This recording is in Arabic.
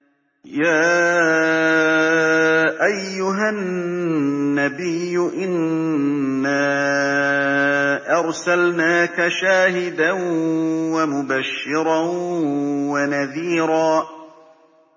يَا أَيُّهَا النَّبِيُّ إِنَّا أَرْسَلْنَاكَ شَاهِدًا وَمُبَشِّرًا وَنَذِيرًا